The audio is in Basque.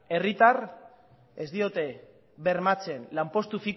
herritarrek ez diote bermatzen lanpostu